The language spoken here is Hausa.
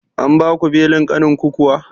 An baku belin ƙanin ku kuwa?